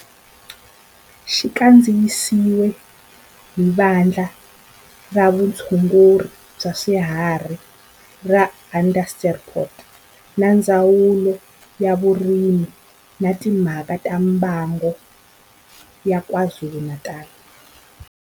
Xi kandziyisiwe hi Vandla ra Vutshunguri bya swifuwo ra Vandla ra Vutshunguri bya swifuwo ra Onderstepoort na Ndzawulo ya Vurimi na Timhaka ta Mbango ya KwaZulu-Natal.